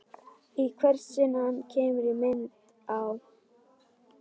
Í hvert sinn sem hann kemur í mynd á